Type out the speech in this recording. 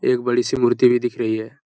एक बड़ी सी मूर्ति भी दिख रही है |